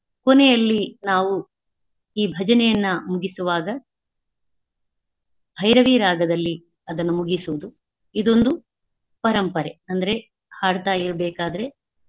ಕೊನೆಯಲ್ಲಿ ನಾವು ಈ ಭಜನೆಯನ್ನಾ ಮುಗಿಸುವಾಗ ಭೈರವಿ ರಾಗದಲ್ಲಿ ಅದನ್ನು ಮುಗಿಸುವುದು ಇದೊಂದು ಪರಂಪರೆ ಅಂದ್ರೆ ಹಾಡ್ತಾ ಇರಬೇಕಾದ್ರೆ.